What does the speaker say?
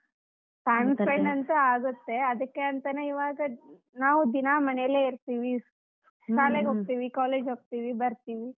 ಅಂತೂ ಆಗತ್ತೆ ಅದಕ್ಕೆ ಅಂತಾನೇ ಇವಾಗ ನಾವ್ ದಿನಾ ಮನೇಲೇ ಇರ್ತೀವಿ, ಹೋಗ್ತಿವಿ, college ಹೋಗ್ತಿವಿ ಬರ್ತೀವಿ.